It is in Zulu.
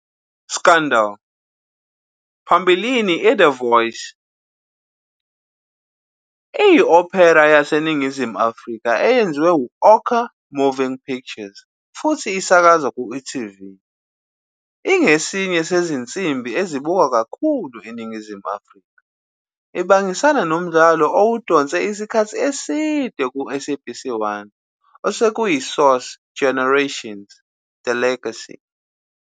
Scandal!, phambilini iThe Voice, iyi-opera yaseNingizimu Afrika eyenziwe yi-Ocher Moving Pictures futhi isakazwa ku-e.tv. Ingesinye sezinsimbi ezibukwa kakhulu eNingizimu Afrika, ibangisana nomdlalo owudonse isikhathi eside ku-SABC 1 "osekuyiSource Generations-The Legacy".